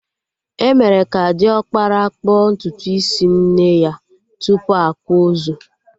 Emere ka diọkpara kpụọ ntutu isi nne ya tupu akwa ozu